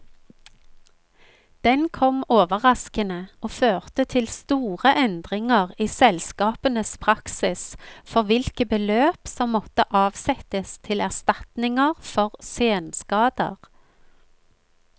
Den kom overraskende, og førte til store endringer i selskapenes praksis for hvilke beløp som måtte avsettes til erstatninger for senskader.